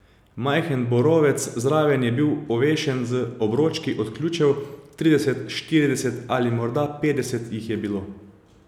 Majhen borovec zraven je bil ovešen z obročki od ključev, trideset, štirideset ali morda petdeset jih je bilo.